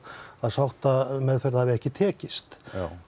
að sáttameðferð hafi ekki tekist